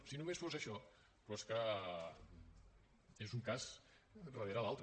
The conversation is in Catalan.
si només fos això però és que és un cas darrere l’altre